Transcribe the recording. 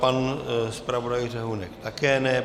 Pan zpravodaj Řehounek také ne.